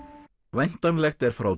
væntanlegt er frá